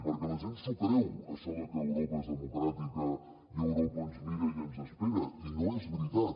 perquè la gent s’ho creu això de que europa és democràtica i europa ens mira i ens espera i no és veritat